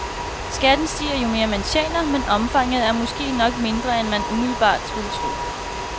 Skatten stiger, jo mere man tjener, men omfanget er måske nok mindre end man umiddelbart skulle tro.